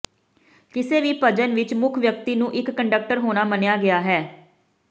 ਕਿਸੇ ਵੀ ਭਜਨ ਵਿੱਚ ਮੁੱਖ ਵਿਅਕਤੀ ਨੂੰ ਇੱਕ ਕੰਡਕਟਰ ਹੋਣਾ ਮੰਨਿਆ ਗਿਆ ਹੈ